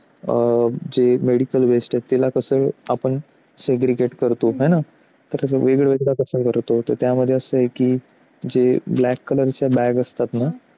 जे Medical West त्याला कसं आपण segregate करतो तर वेगळ वेगळं कसं करतो तर त्यामध्ये असे की जे black color bag असतात ना?